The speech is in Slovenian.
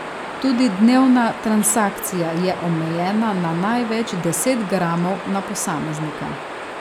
Tudi dnevna transakcija je omejena na največ deset gramov na posameznika.